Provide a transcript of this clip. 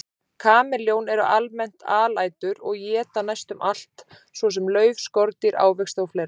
Kameljón eru almennt alætur og éta næstum allt, svo sem lauf, skordýr, ávexti og fleira.